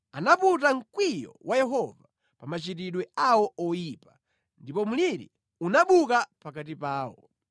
anaputa mkwiyo wa Yehova pa machitidwe awo oyipa, ndipo mliri unabuka pakati pawo.